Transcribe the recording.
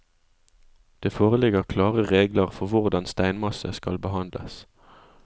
Det foreligger klare regler for hvordan steinmasse skal behandles.